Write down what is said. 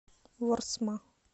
ворсма